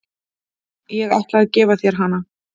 Ég ætla að gefa þér hana.